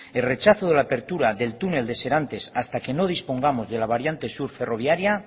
el rechazo de la apertura del túnel de serantes hasta que no dispongamos de la variante sur ferroviaria